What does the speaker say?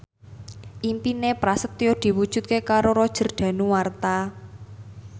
impine Prasetyo diwujudke karo Roger Danuarta